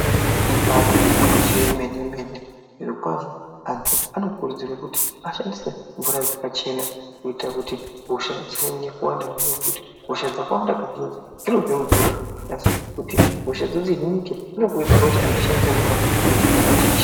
Ibatori gwinyiso remene mene zviro kwazvo antu anokurudzirwa kuti ashandise mvura yakachena kuita kuti hosha dzisaonekwa nezvimweni nekuti hosha asi kuti hosha dzihinike inokurudzira kuti antu ashandise mvura dzinenge .